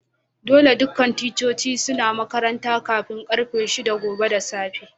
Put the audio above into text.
Dolle dukan ticcoci suna makaranta kafin karfe shida gobe da safe.